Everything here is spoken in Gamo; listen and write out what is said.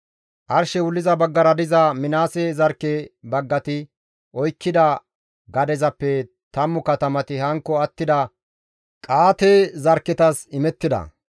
Arshey wulliza baggara diza Minaase zarkke baggati oykkida gadezappe 10 katamati hankko attida Qa7aate zarkketas imettida.